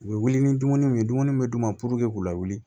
U bɛ wuli ni dumuniw ye dumuni min d'u ma puruke k'u lawuli